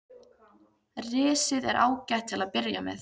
Risið er ágætt til að byrja með.